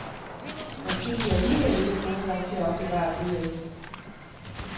Måske de alligevel ikke er gode nok til at opbevare bøger i.